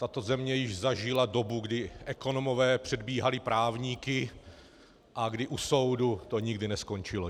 Tato země již zažila dobu, kdy ekonomové předbíhali právníky a kdy u soudu to nikdy neskončilo.